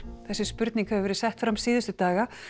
þessi spurning hefur verið sett fram síðustu daga